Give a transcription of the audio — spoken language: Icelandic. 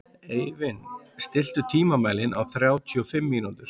Eivin, stilltu tímamælinn á þrjátíu og fimm mínútur.